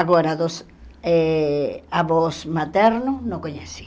Agora, dos eh avós materno, não conheci.